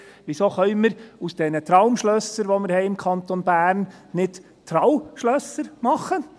Weshalb können wir aus diesen Traumschlössern, die wir im Kanton Bern haben, nicht «Trauschlösser» machen?